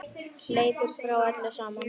Hleypur frá öllu saman.